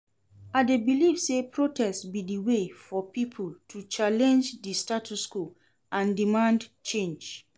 I dey believe say protest be di way for people to challenge di status quo and demand change.